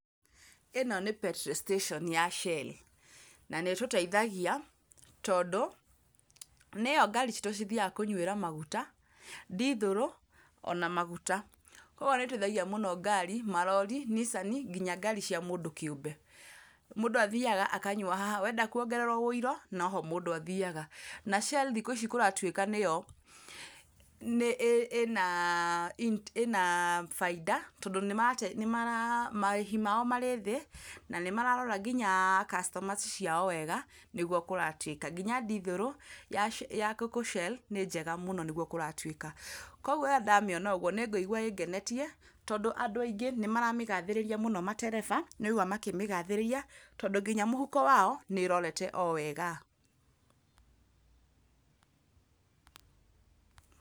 ĩno nĩ petrol station ya Shell na nĩ ĩtũteithagia, tondũ nĩyo ngari citũ cithiaga kũnyuĩra maguta, ndithũrũ ona maguta. Koguo nĩ ĩteithagia mũno ngari, ma rori, nicani, nginya ngari cia mũndũ kĩũmbe. Mũndũ athiaga akanyua haha, wenda kwongererwo ũiro no ho mũndũ athiaga. Na Shell thikũ ici kũratuĩka nĩyo ĩna bainda, tondũ marĩhi mao marĩ thĩ na nĩ mararora nginya customers ciao wega nĩguo kũratuĩka. Nginya ndithũrũ ya gũkũ Shell nĩ njega mũno, nĩguo kũratuĩka. Koguo rĩrĩa ndamĩona ũguo, nĩ ngũigwa ĩngenetie, tondũ andũ aingĩ nĩ maramĩgathĩrĩria mũno matereba, nĩ ũraigua makĩmĩgathĩrĩria. Tondũ nginya mũhuko wao nĩ ĩrorete o wega.